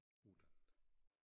Uddannet